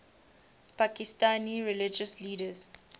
pakistani religious leaders